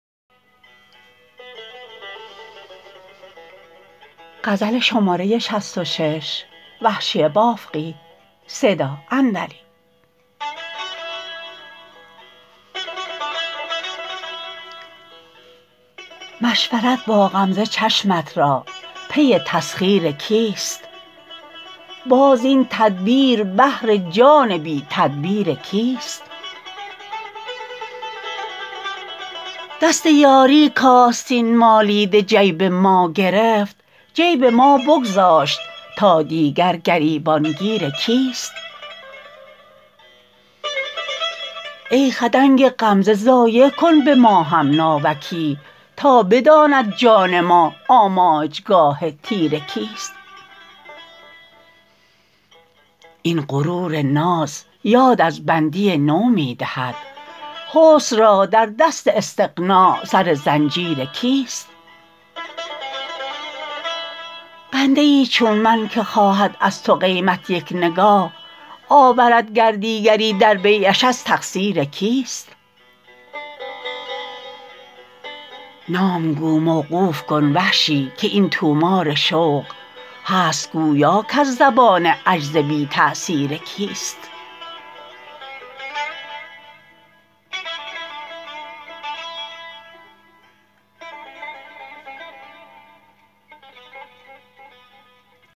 مشورت با غمزه چشمت را پی تسخیر کیست باز این تدبیر بهر جان بی تدبیر کیست دست یاری کـآستین مالیده جیب ما گرفت جیب ما بگذاشت تا دیگر گریبان گیر کیست ای خدنگ غمزه ضایع کن به ما هم ناوکی تا بداند جان ما آماجگاه تیر کیست این غرور ناز یاد از بندی نو می دهد حسن را در دست استغنا سر زنجیر کیست بنده ای چون من که خواهد از تو قیمت یک نگاه آورد گر دیگری در بیعش از تقصیر کیست نام گو موقوف کن وحشی که این طومار شوق هست گویا کز زبان عجز بی تأثیر کیست